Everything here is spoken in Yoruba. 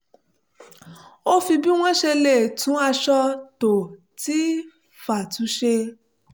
ó fi bí wọ́n ṣe lè tún aṣọ tó ti fà tu ṣe